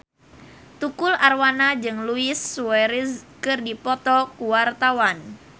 Tukul Arwana jeung Luis Suarez keur dipoto ku wartawan